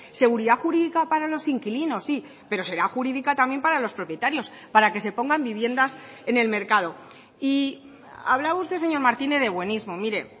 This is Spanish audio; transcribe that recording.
seguridad jurídica para los inquilinos sí pero será jurídica también para los propietarios para que se pongan viviendas en el mercado y hablaba usted señor martínez de buenismo mire